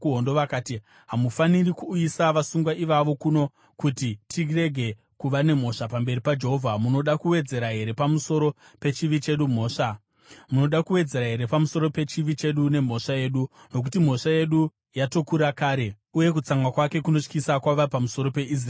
Vakati, “Hamufaniri kuuyisa vasungwa ivavo kuno kuti tirege kuva nemhosva pamberi paJehovha. Munoda kuwedzera here pamusoro pechivi chedu nemhosva yedu? Nokuti mhosva yedu yatokura kare, uye kutsamwa kwake kunotyisa kwava pamusoro peIsraeri.”